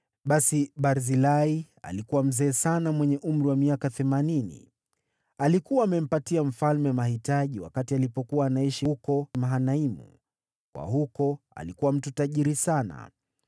Basi Barzilai alikuwa mzee sana mwenye umri wa miaka themanini. Alikuwa amempatia mfalme mahitaji wakati alipokuwa anaishi huko Mahanaimu, kwa kuwa alikuwa mtu tajiri sana.